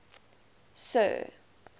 sir